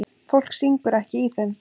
Fólk syngur ekki í þeim.